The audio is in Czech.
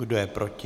Kdo je proti?